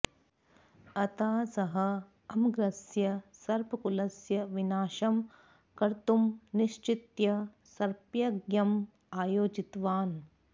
अतः सः अमग्रस्य सर्पकुलस्य विनाशं कर्तुं निश्चित्य सर्पयज्ञम् अयोजितवान्